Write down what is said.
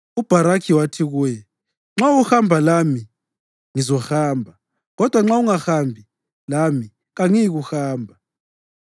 UBharakhi wathi kuye, “Nxa uhamba lami, ngizahamba; kodwa nxa ungahambi lami, kangiyikuhamba.”